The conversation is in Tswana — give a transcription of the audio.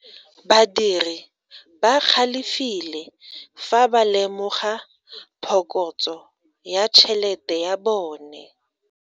Badiri ba galefile fa ba lemoga phokotso ya tšhelete ya bone.